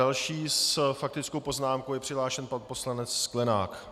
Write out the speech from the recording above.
Další s faktickou poznámkou je přihlášen pan poslanec Sklenák.